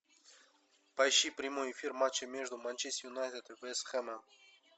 поищи прямой эфир матча между манчестер юнайтед и вест хэмом